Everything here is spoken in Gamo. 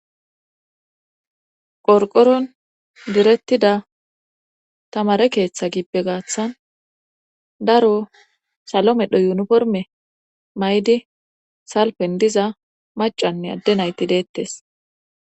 Qorqoron direttida tamare keeththa gippe gaaththan daro salomedho yuniforme may'di salpen diza macanne adde nayti deettes.